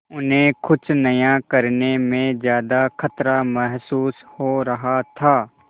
उन्हें कुछ नया करने में ज्यादा खतरा महसूस हो रहा था